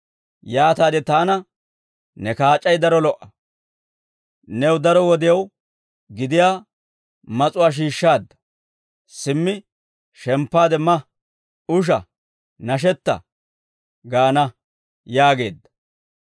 Yaataade taana, «Ne kaac'ay daro lo"a; new daro wodiyaw gidiyaa mas'uwaa shiishshaadda; simmi shemppaade ma, usha, nashetta» gaana› yaageedda.